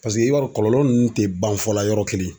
Paseke i b'a dɔn kɔlɔlɔ nunnu te ban fɔlɔ la yɔrɔ kelen.